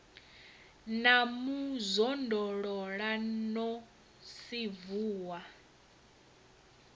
na mu zwondolola no sinvuwa